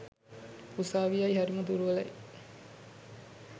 උසාවියයි හරිම දුර්වලයි